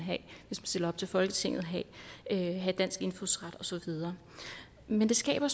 stiller op til folketinget have have dansk indfødsret og så videre men det skaber